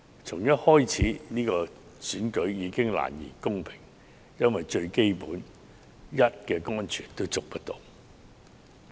從一開始，這場選舉已難言公平，因為連最基本的人身安全亦無法得到保證。